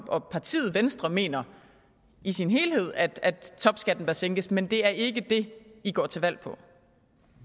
og partiet venstre mener i sin helhed at topskatten bør sænkes men det er ikke det i går til valg på